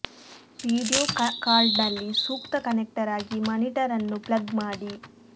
video ಕಾರ್ಡ್ನಲ್ಲಿ ಸೂಕ್ತ connector ಆಗಿ ಮಾನಿಟರ್ ಅನ್ನು ಪ್ಲಗ್ ಮಾಡಿ